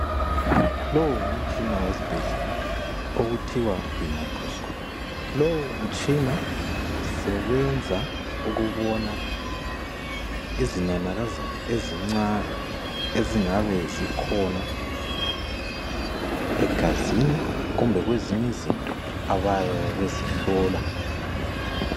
Lowu mgumtshina wesibhedlela okuthiwa yimicroscope lowu mtshina usebenza ukubona izinanakazana ezincane ezingabe zikhona egazini kumbe kwezinye izinto abayabe bezihlola.